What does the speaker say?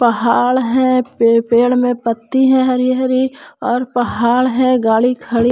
पहाड़ है पेड़ पेड़ में पत्ती है हरी हरी और पहाड़ है गाड़ी खड़ी--